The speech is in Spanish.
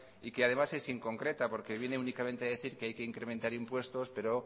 y que además es inconcreta porque viene únicamente a decir que hay que incrementar impuestos pero